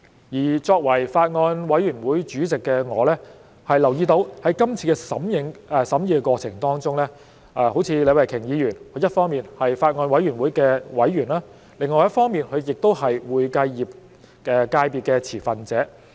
我作為法案委員會主席，我留意到在今次的審議過程當中，好像李慧琼議員，她一方面是法案委員會的委員，另一方面，她也是會計業界別的持份者。